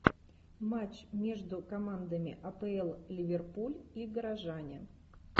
матч между командами апл ливерпуль и горожане